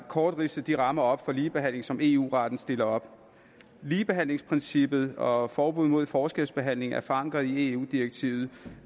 kort ridse de rammer for ligebehandling op som eu retten stiller op ligebehandlingsprincippet og forbud mod forskelsbehandling er forankret i eu direktivet